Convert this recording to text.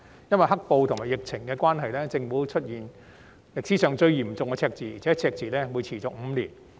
由於"黑暴"和疫情的關係，政府出現歷史上最嚴重的赤字，而且更會持續5年。